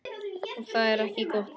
Og það er ekki gott.